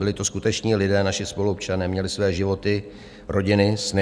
Byli to skuteční lidé, naši spoluobčané, měli své životy, rodiny, sny.